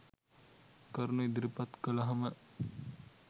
කරුණු ඉදිරිපත් කළහම